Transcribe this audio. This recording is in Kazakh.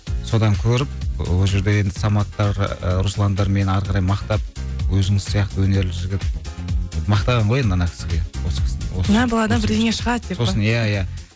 содан көріп ол жерде енді саматтар ыыы русландар мені ары қарай мақтап өзіңіз сияқты өнерлі жігіт мақтаған ғой енді ана кісіге иә бұл баладан бірдеңе шығады деп пе иә иә